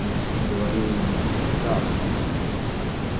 инстинкт говорил ему правду